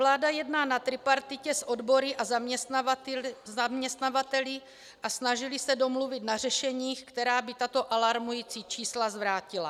Vláda jedná na tripartitě s odbory a zaměstnavateli a snažili se domluvit na řešeních, která by tato alarmující čísla zvrátila.